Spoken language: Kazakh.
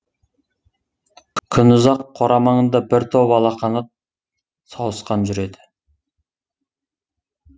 күнұзақ қора маңында бір топ алақанат сауысқан жүреді